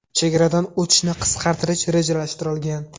Chegaradan o‘tishni qisqartirish rejalashtirilgan.